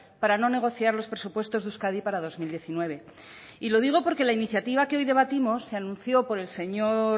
para no negociar los presupuestos de euskadi para dos mil diecinueve y lo digo porque la iniciativa que hoy debatimos se anunció por el señor